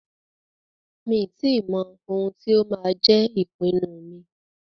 Mi ò tí mọ ohun tí máa jẹ́ ìpinnu mi.